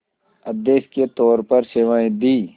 अध्यक्ष के तौर पर सेवाएं दीं